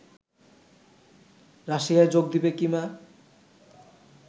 রাশিয়ায় যোগ দিবে কীনা